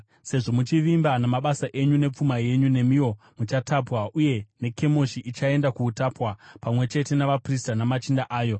Sezvo muchivimba namabasa uye nepfuma yenyu, nemiwo muchatapwa, uye Kemoshi ichaenda kuutapwa, pamwe chete navaprista namachinda ayo.